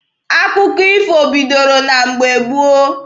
Akụkọ ifo bidoro na mgbe gboo.